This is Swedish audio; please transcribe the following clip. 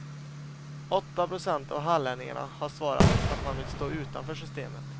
Åtta procent av hallänningarna har svarat att man vill stå utanför systemet.